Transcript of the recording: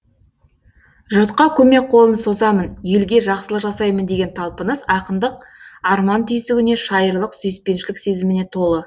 жұртқа көмек қолын созамын елге жақсылық жасаймын деген талпыныс ақындық арман түйсігіне шайырлық сүйіспеншілік сезіміне толы